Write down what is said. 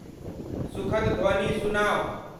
सुखद ध्वनि सुनाउ।